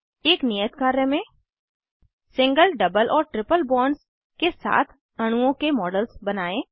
एक नियत कार्य में सिंगल डबल और ट्रिपल बॉन्ड्स के साथ अणुओं के मॉडल्स बनायें